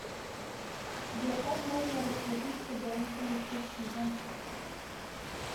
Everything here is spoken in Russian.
сбер как можно расплатиться бонусами спасибо